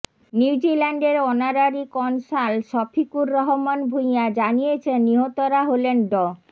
নিউজিল্যান্ডের honorary consul Shafiqur Rahman Bhuiyan জানিয়েছেন নিহতরা হলেন ড